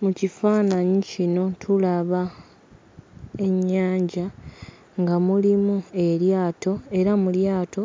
Mu kifaananyi kino tulaba ennyanja, nga mulimu eryato era mu lyato